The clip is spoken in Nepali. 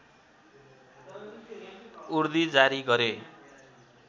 उर्दी जारी गरे